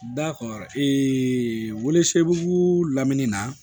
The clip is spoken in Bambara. Dakɔ welesebugu lamini na